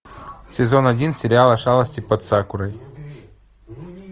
сезон один сериала шалости под сакурой